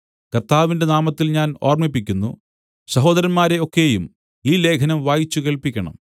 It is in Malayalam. കർത്താവിന്റെ നാമത്തിൽ ഞാൻ ഓർമ്മിപ്പിക്കുന്നു സഹോദരന്മാരെ ഒക്കെയും ഈ ലേഖനം വായിച്ചു കേൾപ്പിക്കണം